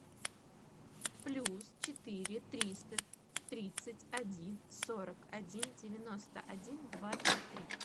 плюс четыре триста тридцать один сорок один девяносто один двадцать три